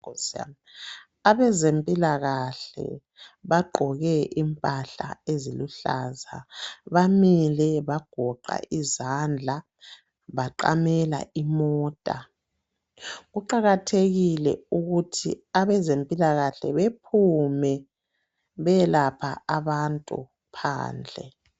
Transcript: Abezempilakahle bagqoke impahla eziluhlaza bamile bagoqa izandla baqamela imota. Kuqakathekile ukuthi abezempilakahle bephume beyelapha abantu phandle.